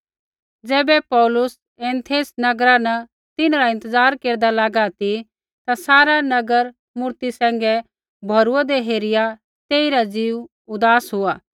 ज़ैबै पौलुस एथेंस नगरा न तिन्हरा इंतज़ार केरदा लागा ती ता सारा नगर मूरती सैंघै भौरूऐदै हेरिया तेइरा ज़ीऊ उदास हुआ